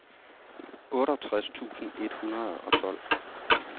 otteogtres tusind et hundrede og tolv